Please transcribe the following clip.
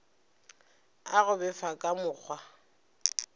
a go befa ka mokgwa